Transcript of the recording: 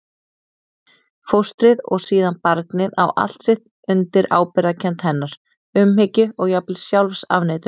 Fóstrið og síðan barnið á allt sitt undir ábyrgðarkennd hennar, umhyggju og jafnvel sjálfsafneitun.